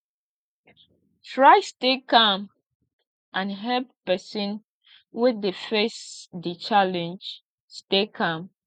try stay calm and help persin wey de face di challenge stay calm